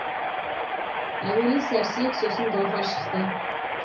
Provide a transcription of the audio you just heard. әуелі сәрсек сосын гауһар шықты